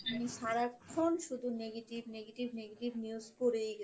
আমি সারাক্ষন শুধু negative negative negative news পড়েই গেছি।